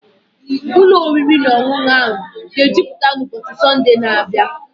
Ụlọ oriri na ọṅụṅụ a aga ejupụta n'ụbọchị Sọnde na-abịa?